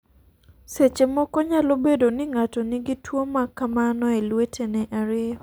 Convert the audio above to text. Seche moko, nyalo bedo ni ng'ato nigi tuwo ma kamano e lwetene ariyo.